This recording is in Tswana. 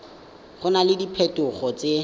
go na le diphetogo tse